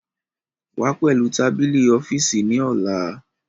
Wá pẹ̀lú tábìlì ọ́fíìsì ní ọ̀la